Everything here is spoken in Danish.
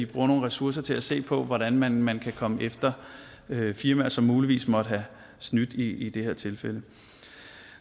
bruger nogle ressourcer til at se på hvordan man man kan komme efter firmaer som muligvis måtte have snydt i det her tilfælde